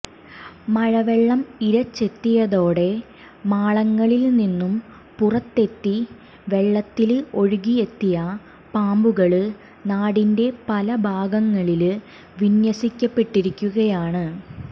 മഴവെള്ളം ഇരച്ചെത്തിയതോടെ മാളങ്ങളില് നിന്നും പുറത്തെത്തി വെള്ളത്തില് ഒഴുകിയെത്തിയ പാമ്പുകള് നാടിന്റെ പല ഭാഗങ്ങളില് വിന്യസിക്കപ്പെട്ടിരിക്കുകയാണ്